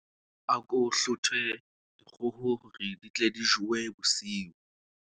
Ako hlothe dikgoho hore di tle di jowe bosiu.